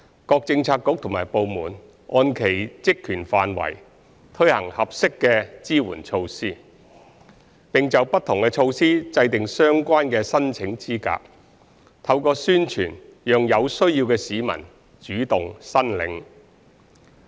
各政策局及部門按其職權範圍推行合適的支援措施，並就不同措施制訂相關的申請資格，透過宣傳讓有需要的市民主動申領。